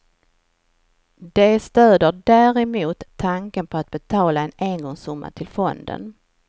De stöder däremot tanken på att betala en engångssumma till fonden.